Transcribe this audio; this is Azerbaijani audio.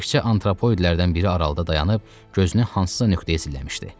Təkçə antropoidlərdən biri aralıda dayanıb gözünü hansısa nöqtəyə zilləmişdi.